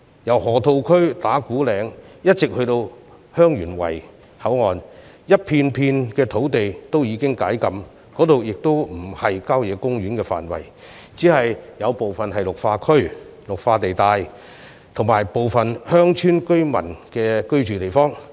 由河套區、打鼓嶺以至香園圍口岸，整片土地均已解禁，而且不屬郊野公園範圍，只有部分屬綠化地帶及鄉村居民居住之地。